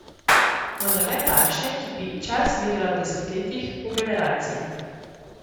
Vendar ne takšne, ki bi čas merila v desetletjih, v generacijah.